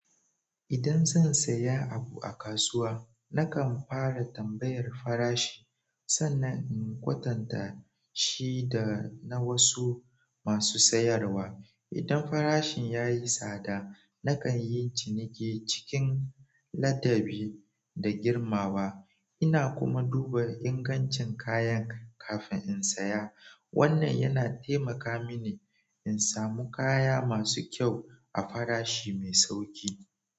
Idan zan saya abu a kasuwa, nakan fara tambayar farashi sannan in kwatanta shi da na wasu masu sayarwa. Idan farashin ya yi tsada, nakan yi ciniki cikin ladabi da girmawa. Ina kuma duba ingancin kayan kafin in saya. Wannan yana taimaka mini in samu kaya masu kyau a farashi mai sauƙi.